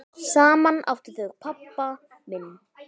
Saman áttu þau pabba minn.